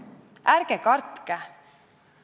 Ärge kartke!